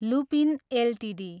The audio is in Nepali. Lupin Ltd